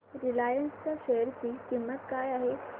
Reliance च्या share ची किंमत काय आहे